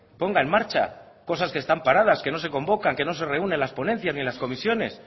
ponga en marcha cosas que están paradas que no se convocan que no se reúnen en las ponencias ni en las comisiones